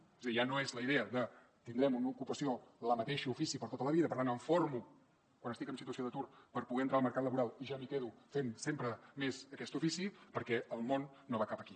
és a dir ja no és la idea de tindrem una ocupació el mateix ofici per a tota la vida per tant em formo quan estic en situació d’atur per poder entrar al mercat laboral i ja m’hi quedo fent sempre més aquest ofici perquè el món no va cap aquí